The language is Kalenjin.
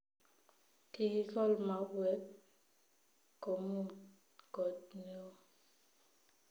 Kigikool mauek komuut koot neo